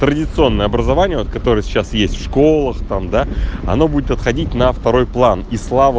традиционное образование вот которое сейчас есть в школах там да оно будет отходить на второй план и слава